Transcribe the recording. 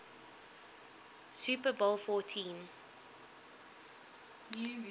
super bowl xliv